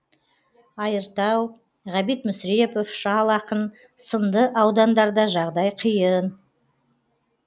айыртау ғабит мүсірепов шал ақын сынды аудандарда жағдай қиын